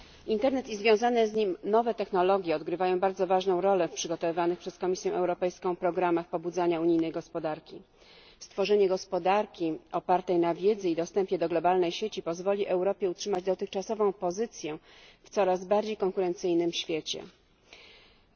Internet i związane z nim nowe technologie odgrywają bardzo ważną rolą w przygotowywanych przez Komisję Europejską programach pobudzania unijnej gospodarki. Stworzenie gospodarki opartej na wiedzy i dostępie do globalnej sieci pozwoli Europie utrzymać dotychczasową pozycję w świecie, w którym konkurencyjność odgrywa coraz większą rolę.